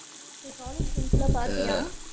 இப்ப college friends லா பாத்தியா?